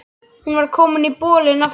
Hún var komin í bolinn aftur.